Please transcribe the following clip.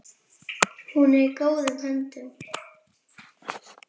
Hún er í góðum höndum.